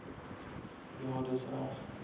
ja dis reg